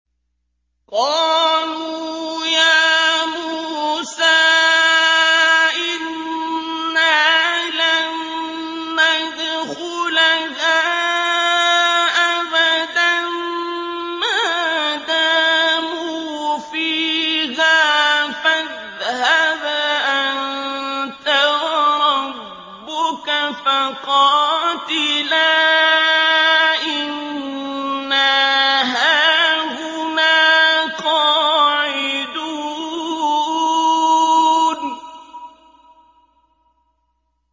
قَالُوا يَا مُوسَىٰ إِنَّا لَن نَّدْخُلَهَا أَبَدًا مَّا دَامُوا فِيهَا ۖ فَاذْهَبْ أَنتَ وَرَبُّكَ فَقَاتِلَا إِنَّا هَاهُنَا قَاعِدُونَ